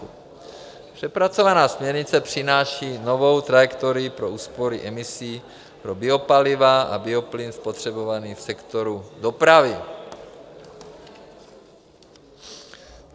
Přepracovaná směrnice přináší novou trajektorii pro úspory emisí pro biopaliva a bioplyn spotřebovaný v sektoru dopravy.